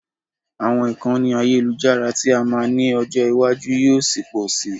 Àwọn ìkànnì àyẹ́lujára tí a máa ní ọjọ́ ìwájú yóò ṣi pọ si.